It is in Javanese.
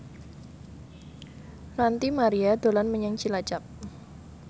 Ranty Maria dolan menyang Cilacap